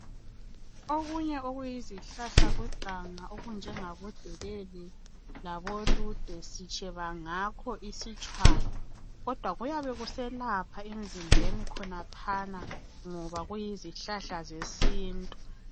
Okunye okuyizihlahlakazana okunjengabo delele labolude sitsheba ngakho isitshwala kodwa kuyabe kuselapha emzimbeni khonaphana ngoba kuyizihlahla zesintu.